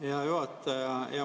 Hea juhataja!